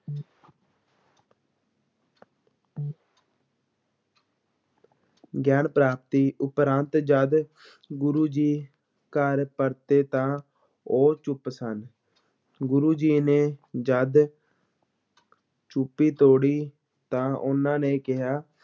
ਗਿਆਨ ਪ੍ਰਾਪਤੀ ਉਪਰੰਤ ਜਦ ਗੁਰੂ ਜੀ ਘਰ ਪਰਤੇ ਤਾਂ ਉਹ ਚੁੱਪ ਸਨ, ਗੁਰੂ ਜੀ ਨੇ ਜਦ ਚੁੱਪੀ ਤੋੜੀ ਤਾਂ ਉਹਨਾਂ ਨੇ ਕਿਹਾ